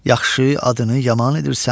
yaxşı adını yaman edirsən.